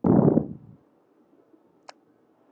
með því að drekka það